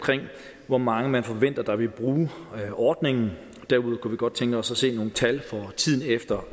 hvor mange man forventer der vil bruge ordningen derudover godt tænke os at se nogle tal for tiden efter